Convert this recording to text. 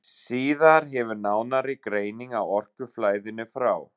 Síðar hefur nánari greining á orkuflæðinu frá